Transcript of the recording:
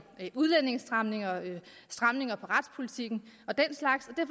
udlændingestramninger stramninger af retspolitikken og den slags